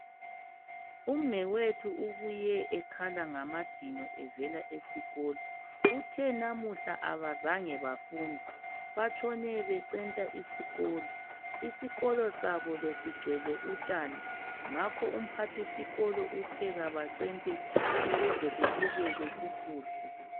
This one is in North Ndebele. Umnewethu ubuye ekhala ngamadino evela esikolo, uthe namuhla abazange bafunde batshone becenta isikolo. Isikolo sabo besigcwele utshani ngakho umphathisikolo uthe kabacente ukuze kubukeke kukuhle.